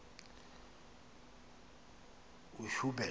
uhuben